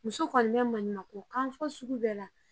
Muso kɔni bɛ maɲumanko kan fɔ sugu bɛɛ la